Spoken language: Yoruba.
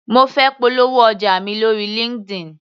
Mo fẹ́ polówó ọjà mi lóri Linkedin.